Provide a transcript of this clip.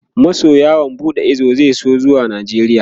masu yawon buɗe Ido zasu so zuwa najeria